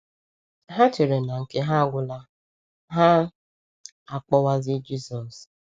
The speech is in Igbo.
Ha chere na nke ha agwụla, ha akpọwazie Jizọs.